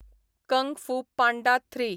Kang Fu Panda three